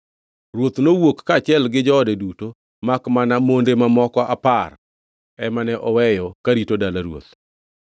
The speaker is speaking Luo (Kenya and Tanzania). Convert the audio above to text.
Ruoth nowuok kaachiel gi joode duto makmana monde mamoko apar ema ne oweyo karito dala ruoth.